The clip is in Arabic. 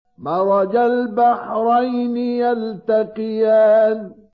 مَرَجَ الْبَحْرَيْنِ يَلْتَقِيَانِ